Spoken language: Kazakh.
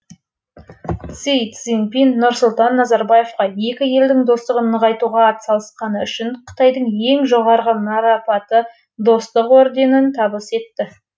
си цзиньпин нұрсұлтан назарбаевқа екі елдің достығын нығайтуға атсалысқаны үшін қытайдың ең жоғарғы марапаты достық орденін табыс етті